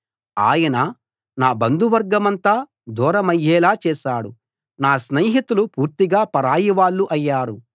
ఆయన నా బంధువర్గమంతా దూరమయ్యేలా చేశాడు నా స్నేహితులు పూర్తిగా పరాయివాళ్ళు అయ్యారు